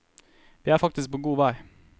Vi er faktisk på god vei.